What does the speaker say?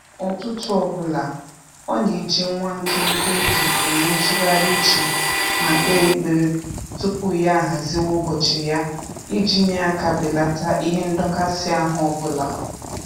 Ụtụtụ ọbụla, ọ na-eji nwa nkenke oge enwe ntụgharị uche ma kpee ekpere tupu ya ahaziwe ụbọchị ya iji nye aka belata ihe ndọkasị ahụ ọbụla